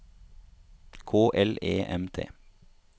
K L E M T